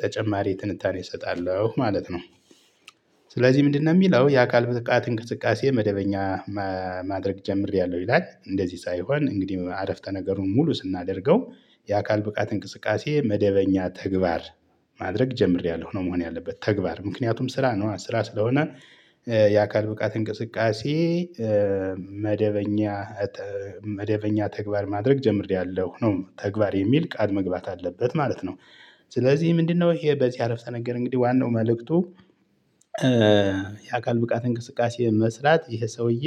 ተጨማሪ ትንታኔ እሰጣለሁ ማለት ነው። ስለዚህ ምንድነው? የሚለው የአካል ብትቃት እንቅስቃሴ መደበኛ ማድረግ ጀምሬያለሁ ይላል እንደዚህ ሳይሆን እንግዲህ አረፍተ ነገሩን ሙሉ ስናደርገው። የአካል ብቃት እንቅስቃሴ መደበኛ ተግባር ማድረግ ጀምሬያለሁ ነው መሆን ያለበት ተግባር ምክንያቱም ስራ ነው ስራ ስለሆነ። የአካል ብቃት እንቅስቃሴ መደበኛ መደበኛ ተግባር ማድረግ ጀምሬያለሁ ነው ተግባር የሚል ቃል መግባት አለበት ማለት ነው። ስለዚህ ምንድነው? ይሄ በዚህ አረፍተ ነገር እንግዲህ ዋናው መልእክቱ። የአካል ብቃት እንቅስቃሴ መስራት ይህ ሰውዬ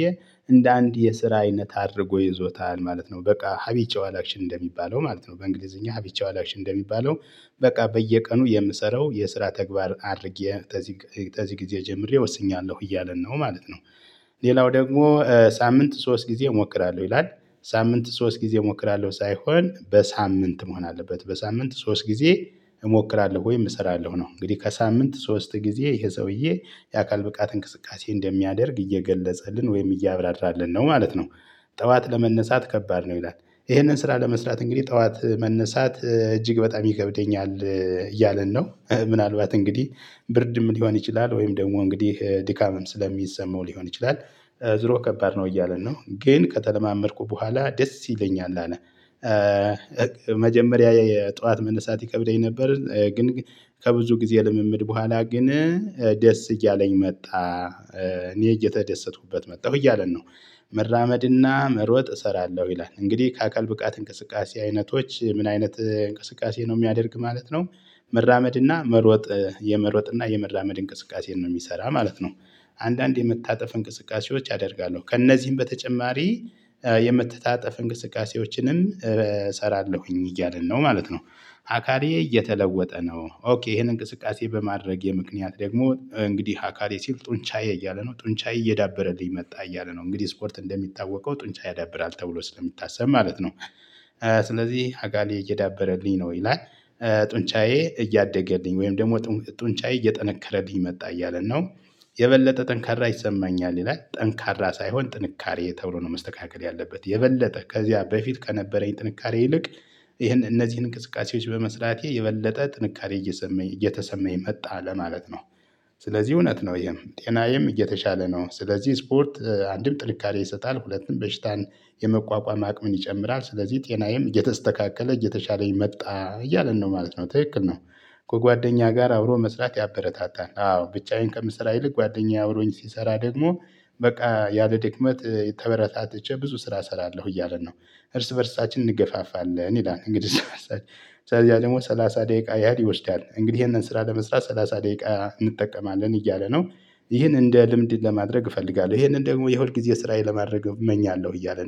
እንደ አንድ የስራ አይነት አድርጎ ይዞታል ማለት ነው በቃ ሀቢችዋል አክሽን እንደሚባለው ማለት ነው በእንግሊዝኛ ሀቢችዋል አክሽን እንደሚባለው። በቃ በየቀኑ የምሰራው የስራ ተግባር አድርጌ ተዚ ተዚ ጊዜ ጀምሬ ወስኛለሁ እያለን ነው ማለት ነው። ሌላው ደግሞ ሳምንት ሶስት ጊዜ እሞክራለሁ ይላል። ሳምንት ሶስት ጊዜ እሞክራለሁ ሳይሆን በሳምንት መሆን አለበት በሳምንት ሶስት ጊዜ እሞክራለሁ ወይም እሰራለሁ ነው። እንግዲህ ከሳምንት ሶስት ጊዜ ይሄ ሰውዬ የአካል ብቃት እንቅስቃሴ እንደሚያደርግ እየገለጸልን ወይም እያብራራልን ነው ማለት ነው። ጠዋት ለመነሳት ከባድ ነው ይላል። ይሄንን ስራ ለመስራት እንግዲህ ጠዋት መነሳት እጅግ በጣም ይከብደኛል እያለን ነው ምናልባት እንግዲህ ብርድም ሊሆን ይችላል ወይም ደግሞ እንግዲህ ድካምም ስለሚሰማው ሊሆን ይችላል። ዞሮ ከባድ ነው እያለን ነው ግን ከተለማመድኩ በኋላ ደስ ይለኛል አለ። መጀመሪያ የጠዋት መነሳት ይከብደኝ ነበር ግን ከብዙ ጊዜ ልምምድ በኋላ ግን ደስ እያለኝ መጣ። እኔ እየተደሰቱበት መጣሁ እያለን ነው። መራመድና መሮጥ እሰራለሁ ይላል እንግዲህ ከአካል ብቃት እንቅስቃሴ አይነቶች ምን አይነት እንቅስቃሴ ነው የሚያደርግ ማለት ነው። መራመድና መሮጥ የመሮጥና የመራመድ እንቅስቃሴን ነው የሚሰራ ማለት ነው። አንዳንዴ የምታጠፍ እንቅስቃሴዎች ያደርጋሉ ከእነዚህም በተጨማሪ የምተታጠፍ እንቅስቃሴዎችንን እሰራለሁኝ እያልን ነው ማለት ነው። አካሌ እየተለወጠ ነው ኦኬ ይሄንን እንቅስቃሴ በማድረጌ የምክንያት ደግሞ እንግዲህ አካሌ ሲል ጡንቻዬ እያለ ነው ጡንቻዬ እየዳበረልኝ መጣ እያለ ነው እንግዲህ ስፖርት እንደሚታወቀው ጡንቻ ያዳብራል ተብሎ ስለሚታሰብ ማለት ነው። ስለዚህ አካሌ እየዳበረልኝ ነው ይላል። ጡንጫዬ እያደገልኝ ወይም ደግሞ ጡንጫዬ እየጠነከረልኝ መጣ እያለ ነው። የበለጠ ጠንካራ ይሰማኛል ይላል ጠንካራ ሳይሆን ጥንካሬ ተብሎ ነው መስተካከል ያለበት የበለጠ ከዚያ በፊት ከነበረኝ ጥንካሬ ይልቅ ይሄን እነዚህን እንቅስቃሴዎች በመስራቴ የበለጠ ጥንካሬ እየሰመኝ እየተሰመኝ መጣ ለማለት ነው። ስለዚህ እውነት ነው ይሄም ጤናዬም እየተሻለ ነው ስለዚህ ስፖርት አንድም ጥንካሬ ይሰጣል ሁለትም በሽታን የመቋቋም አቅምን ይጨምራል ስለዚህ ጤናዬም እየተስተካከለ እየተሻለኝ መጣ እያልን ነው ማለት ነው ትክክል ነው። ከጓደኛ ጋር አውሮ መስራት ያበረታታል አዎ ብቻዬን ከምሰራ ይልቅ ጓደኛዬ አብሮኝ ሲሰራ ደግሞ በቃ ያለ ድክመት ተበረታትቼ ብዙ ስራ እሰራለሁ እያለን ነው። እርስ በእርሳችን እንገፋፋለን ይላል። እንግዲህ እርስ በርሳችን ከዚያ ደግሞ ደግሞ ሰላሳ ደቂቃ ያህል ይወስዳል እንግዲህ ይሄንን ስራ ለመስራት ሰላሳ ደቂቃ እንጠቀማለን እያለ ነው። ይህን እንደ ልምድ ለማድረግ እፈልጋለሁ ይሄንን ደግሞ የሁልጊዜ ስራየ ለማድረግ እመኛለሁ እያለ